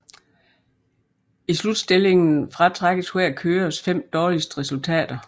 I Slutstillingen fratrækkes hver kørers fem dårligste resultater